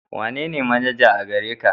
Wanene manaja a gare ka?